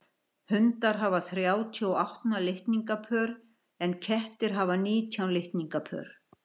hundar hafa þrjátíu og átta litningapör en kettir hafa nítján litningapör